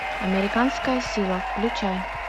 американская сила включай